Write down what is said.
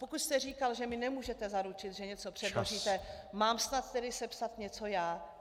Pokud jste říkal, že mi nemůžete zaručit, že něco předložíte , mám snad tedy sepsat něco já?